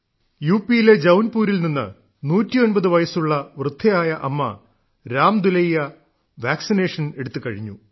U പിയിലെ ജൌൻപൂരിൽ നിന്ന് 109 വയസ്സുള്ള വൃദ്ധയായ അമ്മ രാമദുലൈയാ വാക്സിനേഷൻ എടുത്തുകഴിഞ്ഞു